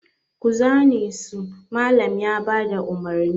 Ku zane su! Mallam ya ba da umarni.